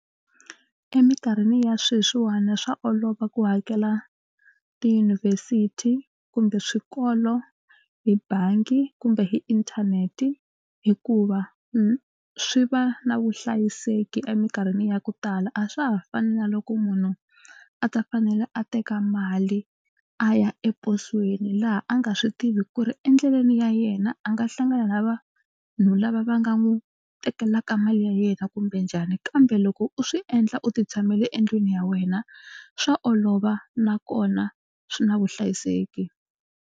Emikarhini ya sweswiwani swa olova ku hakela tiyunivhesiti kumbe swikolo hi bangi kumbe hi inthanete hikuva swi va na vuhlayiseki emikarhini ya ku tala. A swa ha fani na loko munhu a ta fanela a teka mali a ya eposweni laha a nga swi tivi ku ri endleleni ya yena a nga hlangana na vanhu lava va nga n'wi tekelaka mali ya yena kumbe njhani kambe loko u swi endla u titshamele endlwini ya wena swa olova nakona swi na vuhlayiseki.